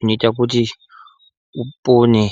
inoita kuti upone.